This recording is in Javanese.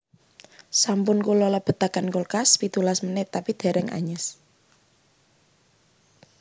Sampun kulo lebetaken kulkas pitulas menit tapi dereng anyes